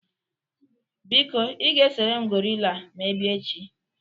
Biko ị ga-esere m gorila ma ị bịa echi